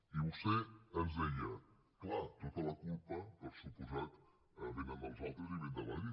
i vostè ens deia clar tota la culpa per descomptat ve dels altres i ve de madrid